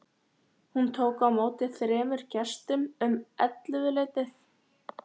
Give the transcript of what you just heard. Hún tók á móti þremur gestum um ellefuleytið.